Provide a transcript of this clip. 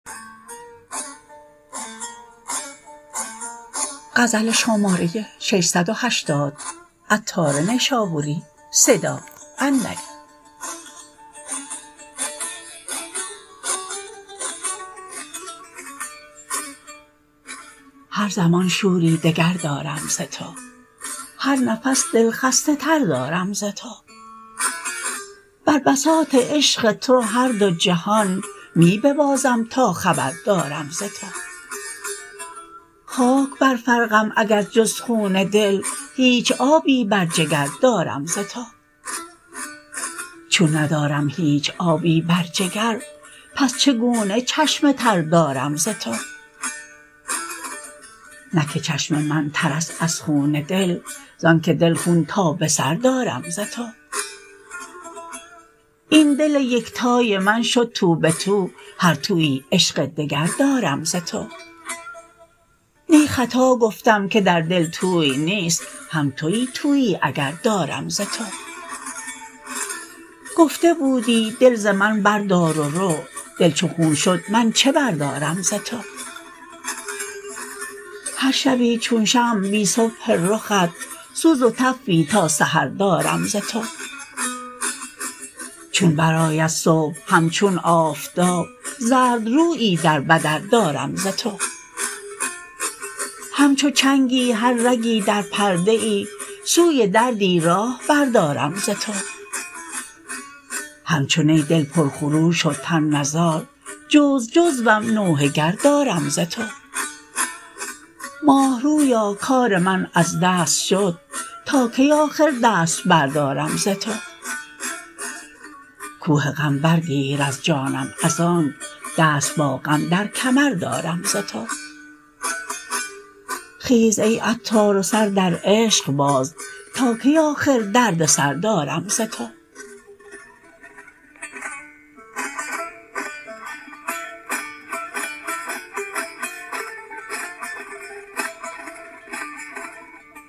هر زمان شوری دگر دارم ز تو هر نفس دل خسته تر دارم ز تو بر بساط عشق تو هر دو جهان می ببازم تا خبر دارم ز تو خاک بر فرقم اگر جز خون دل هیچ آبی بر جگر دارم ز تو چون ندارم هیچ آبی بر جگر پس چگونه چشم تر دارم ز تو نه که چشم من تر است از خون دل زانکه دل خون تا به سر دارم ز تو این دل یکتای من شد تو به تو هر تویی عشق دگر دارم ز تو نی خطا گفتم که در دل توی نیست هم توی تویی اگر دارم ز تو گفته بودی دل ز من بردار و رو دل چو خون شد من چه بردارم ز تو هر شبی چون شمع بی صبح رخت سوز و تفی تا سحر دارم ز تو چون برآید صبح همچون آفتاب زرد رویی در بدر دارم ز تو همچو چنگی هر رگی در پرده ای سوی دردی راه بر دارم ز تو همچو نی دل پر خروش و تن نزار جزو جزوم نوحه گر دارم ز تو ماه رویا کار من از دست شد تا کی آخر دست بردارم ز تو کوه غم برگیر از جانم از آنک دست با غم در کمر دارم ز تو خیز ای عطار و سر در عشق باز تا کی آخر دردسر دارم ز تو